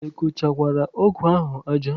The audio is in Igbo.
Ị kụchakwara ọgụ ahụ aja?